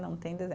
Não tem